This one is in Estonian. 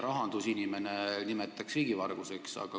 Rahandusinimene nimetaks seda riigivarguseks.